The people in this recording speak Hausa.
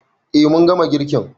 Eh mun gama girkin